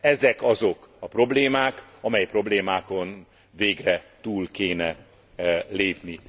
Ezek azok a problémák, amely problémákon végre túl kéne lépni.